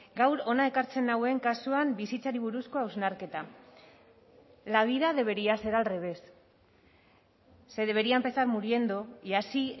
gaur hona ekartzen nauen kasuan bizitzari buruzko hausnarketa la vida debería ser al revés se debería empezar muriendo y así